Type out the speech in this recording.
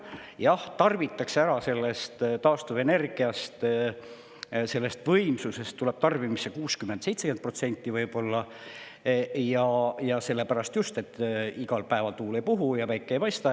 Jah, tarbitakse ära ja sellest taastuvenergia võimsusest tuleb tarbimisse võib-olla 60–70%, just sellepärast, et igal päeval tuul ei puhu ja päike ei paista.